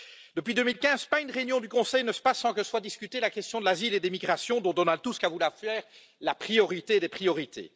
Depuis 2015, pas une réunion du Conseil ne se passe sans que soit discutée la question de l'asile et des migrations, dont Donald Tusk a voulu faire la priorité des priorités.